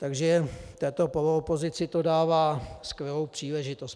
Takže této poloopozici to dává skvělou příležitost.